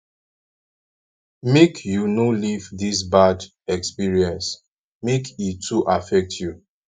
make you no leave dis bad experience make e too affect you